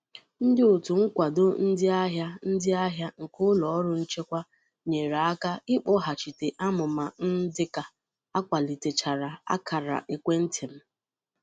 Ndị òtù nkwado ndị ahịa ndị ahịa nke ụlọrụ nchekwa nyere aka ikpoghachita amụma n dịka akwalitechara akara ekwentị m